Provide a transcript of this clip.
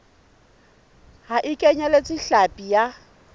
ha e kenyeletse hlapi ya